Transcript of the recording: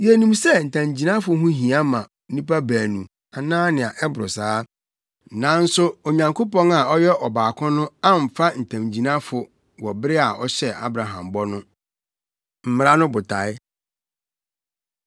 Yenim sɛ ntamgyinafo ho hia ma nnipa baanu anaa nea ɛboro saa, nanso Onyankopɔn a ɔyɛ ɔbaako no amfa ntamgyinafo wɔ bere a ɔhyɛɛ Abraham bɔ no. Mmara No Botae